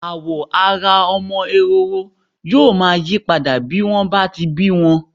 Àwọ̀ ara ọmọ ẹhoro yóò máa yí padà bí wọ́n bá ti bí wọn.